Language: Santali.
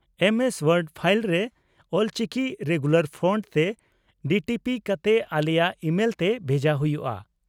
ᱮᱢ ᱮᱥ ᱣᱳᱨᱰ ᱯᱷᱟᱤᱞ ᱨᱮ ᱚᱞᱪᱤᱠᱤ ᱨᱮᱜᱩᱞᱟᱨ ᱯᱷᱚᱱᱴᱥ ᱛᱮ ᱰᱤᱴᱤᱯᱤ ᱠᱟᱛᱮ ᱟᱞᱮᱭᱟᱜ ᱤᱢᱮᱞᱛᱮ ᱵᱷᱮᱡᱟ ᱦᱩᱭᱩᱜᱼᱟ ᱾